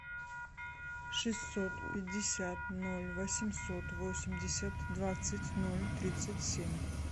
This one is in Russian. шестьсот пятьдесят ноль восемьсот восемьдесят двадцать ноль тридцать семь